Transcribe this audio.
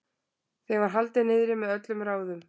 Þeim var haldið niðri með öllum ráðum.